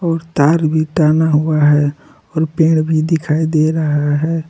और तार भी टांगा हुआ है और पेड़ भी दिखाई दे रहा है।